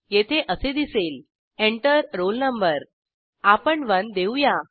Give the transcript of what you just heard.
येथे असे दिसेल Enter रोल no आपण 1 देऊया